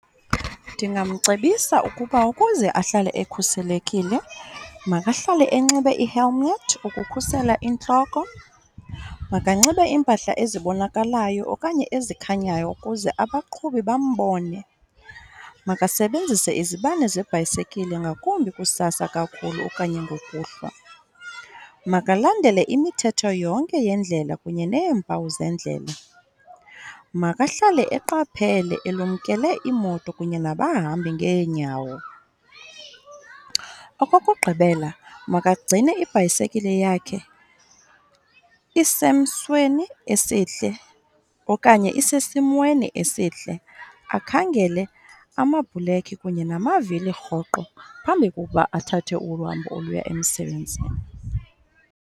Ndingamcebisa ukuba ukuze ahlale ekhuselekile makahlale enxibe i-helmet ukukhusela intloko, makanxibe iimpahla ezibonakalayo okanye ezikhanyayo ukuze abaqhubi bambone. Makasebenzise izibane zebhayisekile ngakumbi kusasa kakhulu okanye ngokuhlwa. Makalandele imithetho yonke yendlela kunye neempawu zeendlela, makahlale eqaphele elumkele iimoto kunye nabahambi ngeenyawo. Okokugqibela, makagcine ibhayisekile yakhe isemsweni esihle okanye isesimweni esihle, akhangele amabhulekhi kunye namavili rhoqo phambi kokuba athathe olu hambo oluya emsebenzini.